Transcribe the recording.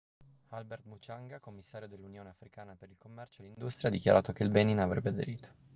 albert muchanga commissario dell'unione africana per il commercio e l'industria ha dichiarato che il benin avrebbe aderito